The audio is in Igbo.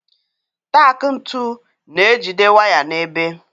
Taak ntu na-ejide waya n'ebe.